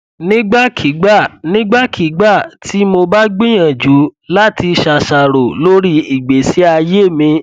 nígbàkigbà nígbàkigbà tí mo bá gbìyànjú láti ṣàṣàrò lórí ìgbésí ayé mi